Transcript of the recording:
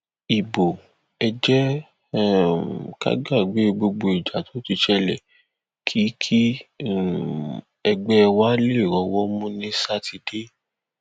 ibo ẹ jẹ um ká gbàgbé gbogbo ìjà tó ti ṣẹlẹ kí kí um ẹgbẹ wa lè rọwọ mú ní sátidé